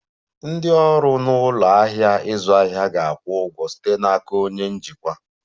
Ndị ọrụ nọ n'ụlọ ahịa ịzụ ahịa ga-akwụ ụgwọ site n'aka onye njikwa